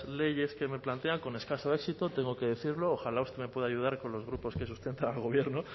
leyes que me plantean con escaso éxito tengo que decirlo ojalá usted me puede ayudar con los grupos que sustentan al gobierno